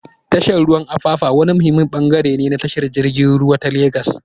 Tashar ruwan Apapa wani muhimmin bangare ne na tashar jirgin ruwa ta Legas.